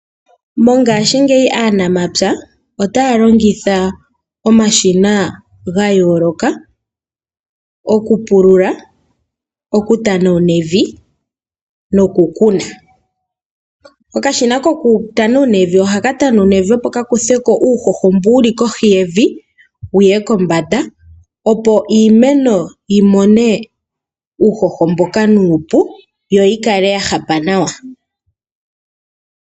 Mongashingeyi aanamapya otaya longitha omashina gayooloka okupulula, okutanawuna evi nokukuna. Okashina kokutanawuna evi ohaka tanawuna evi opo kakuthe ko uuhoho mbu wuli kohi yevi wuye kombanda opo iimeno yi mone uuhoho mboka nuupu, yi kale yahapa nawa.